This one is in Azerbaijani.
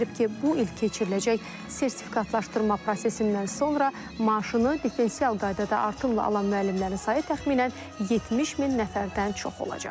Bildirib ki, bu il keçiriləcək sertifikatlaşdırma prosesindən sonra maaşını diferensial qaydada artımla alan müəllimlərin sayı təxminən 70 min nəfərdən çox olacaq.